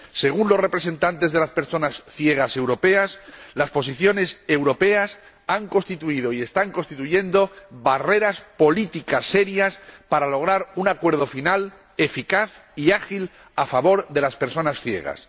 Según los representantes de las personas ciegas europeas, las posiciones europeas han constituido y están constituyendo graves barreras políticas para lograr un acuerdo final eficaz y ágil a favor de las personas ciegas.